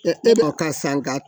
e b'a ka san ka